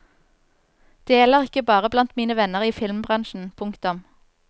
Det gjelder ikke bare blant mine venner i filmbransjen. punktum